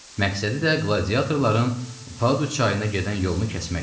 Məqsədi də qladiatorların Padu çayına gedən yolunu kəsməkdir.